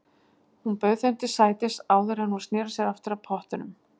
Hún bauð þeim til sætis áður en hún sneri sér aftur að pottunum.